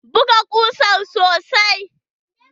Buga ƙusan sosai.